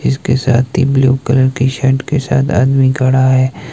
जिसके साथ blue colour shirt के साथ आदमी खड़ा है।